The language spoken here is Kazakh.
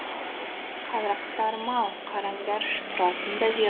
қарақтарым ау қараңдаршы тұратын да жер